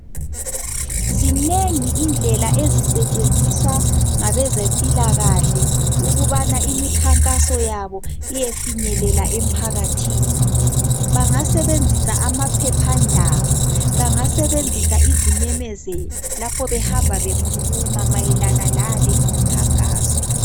Zinengi izindlela ezisetshenziswa ngabezempilakahle ukubana imikhankaso yabo iyefinyelela emphakathini. Bangasebenzisa amaphephandaba, bangasebenzisa izimemezelo lapho behamba bekhuluma mayelana lale imikhankaso.